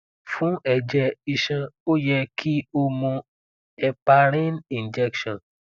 fun ẹjẹ iṣan o yẹ ki o mu heparin injection